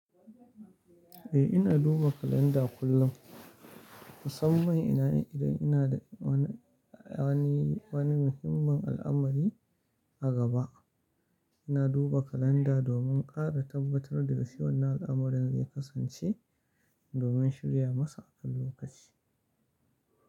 Eh, ina duba kalanda kullum, musamman ina yin idan ina da wani, wani muhimmin al'amari a gaba. Ina duba kalanda domin ƙara tabbatar da gaskiyan al'amarin da zai kasance domin shirya masa akan lokaci.